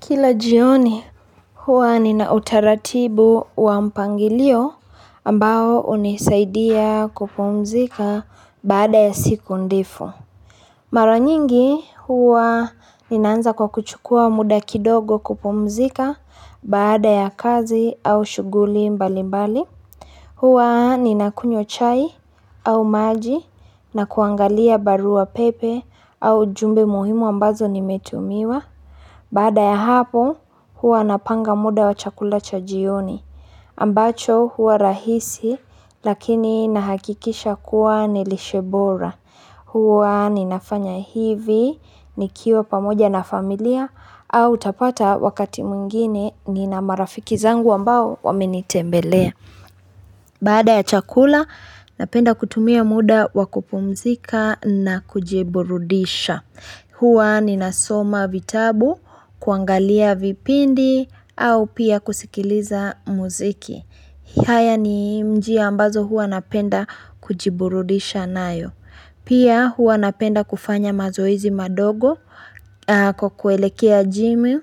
Kila jioni huwa ni na utaratibu wa mpangilio ambao unisaidia kupumzika baada ya siku ndefu Mara nyingi huwa ni naanza kwa kuchukua muda kidogo kupumzika baada ya kazi au shuguli mbali mbali huwa ni na kunywa chai au maji na kuangalia barua wa pepe au jumbe muhimu ambazo ni metumiwa Baada ya hapo huwa napanga muda wa chakula cha jioni. Ambacho huwa rahisi lakini nahakikisha kuwa nilishebora. Hwa ninafanya hivi ni kiwa pamoja na familia au tapata wakati mwingine ni na marafiki zangu ambao wamenitembelea. Baada ya chakula, napenda kutumia muda wakupumzika na kujiburudisha hua ni nasoma vitabu, kuangalia vipindi, au pia kusikiliza muziki haya ni mji ambazo hua napenda kujiburudisha nayo Pia hua napenda kufanya mazoezi madogo kukuelekea jimi